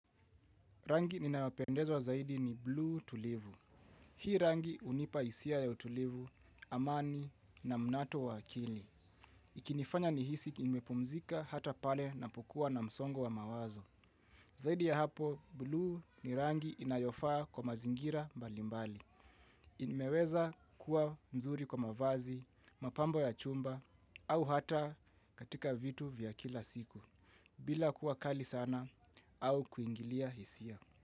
Rangi ninaopendezwa zaidi ni blue tulivu. Hii rangi hunipa hisia ya utulivu, amani na mnato wa akili. Kinifanya ni hisi kimepumzika hata pale napokua na msongo wa mawazo. Zaidi ya hapo, blue ni rangi inayofaa kwa mazingira mbali mbali. Nimeweza kuwa mzuri kwa mavazi, mapambo ya chumba, au hata katika vitu vya kila siku. Bila kuwa kali sana au kuingilia hisia.